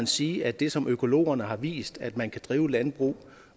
sige at det som økologerne har vist altså at man kan drive landbrug